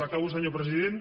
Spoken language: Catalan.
acabo senyor president